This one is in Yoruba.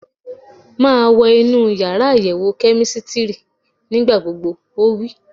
Máa wọ inú yàrá àyẹ̀wò kẹ́mísítírì nígbà gbogbo! Ó wí.